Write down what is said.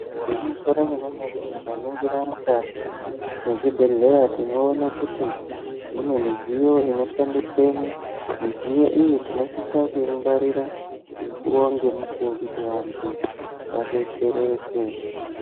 Igwinyiso remene mene tikaningira mukati mezvibhedhlera tinoona mune midziyo inoshandiswa midziyo iyi tinosisa kungawaria mukuwo ngemukwuo adetsereke.